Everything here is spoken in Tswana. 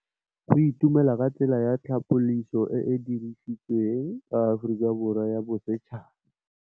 Go itumela ke tsela ya tlhapolisô e e dirisitsweng ke Aforika Borwa ya Bosetšhaba.